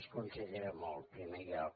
les considera molt en primer lloc